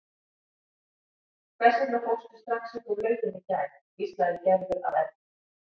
Hvers vegna fórstu strax upp úr lauginni í gær? hvíslaði Gerður að Erni.